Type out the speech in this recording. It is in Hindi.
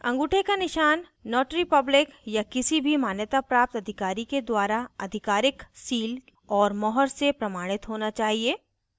अंगूठे का निशान notary public या किसी भी मान्यताप्राप्त अधिकारी के द्वारा आधिकारिक seal और मुहर से प्रमाणित होना चाहिए